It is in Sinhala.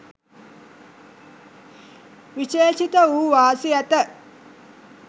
විශේෂිත වූ වාසි ඇත.